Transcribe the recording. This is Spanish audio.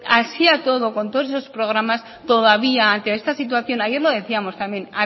así y todo con todos esos programas todavía ante esta situación ayer lo decíamos también